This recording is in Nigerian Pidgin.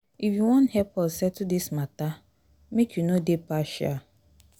if you wan help us settle dis mata make you no dey partial.